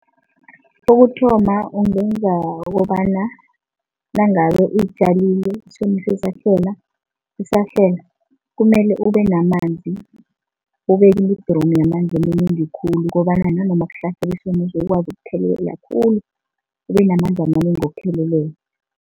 Kokuthoma ungenza ukobana nangabe utjalile isomiso sisahlela, kumele ubenamanzi. Ubeke idromu yamanzi amanengi khulu ukobana nanoma kuhlasela isomiso, ukwazi ukuthelelela khulu. Ubenamanzi amanengi wokuthelelela.